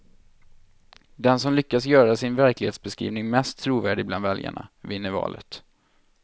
Den som lyckas göra sin verklighetsbeskrivning mest trovärdig bland väljarna, vinner valet.